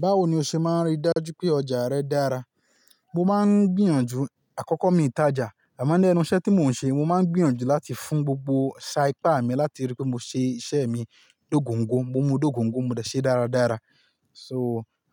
Báwo ni o ṣe máa rí dájú pé ọjà rẹ dára? Mo máa ń gbìyànjú àkọ́kọ́ mi tajà, àmọ́ ni enu iṣẹ́ tí mò ń ṣe, mo máa ń gbìyànjú láti fún gbogbo sá ipà mi láti rí pé mo ṣe iṣẹ́ mi lókoǹgo, mo mu dé okoǹgo mo dẹ̀ ṣe dáradára. So,